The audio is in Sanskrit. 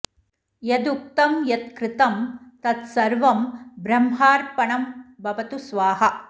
यद् उक्तं यत् कृतं तत् सर्वं ब्रह्मार्पणं भवतु स्वाहा